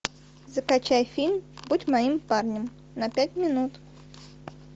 закачай фильм будь моим парнем на пять минут